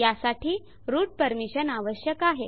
यासाठी root permissions आवश्यक आहे